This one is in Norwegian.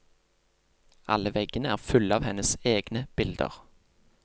Alle veggene er fulle av hennes egne bilder.